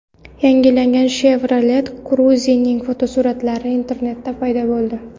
Yangilangan Chevrolet Cruze’ning fotosuratlari internetda paydo bo‘ldi.